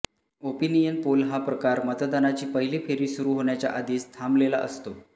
opinion poll हा प्रकार मतदानाची पहिली फेरी सुरू होण्याच्या आधीच थांबलेला असतो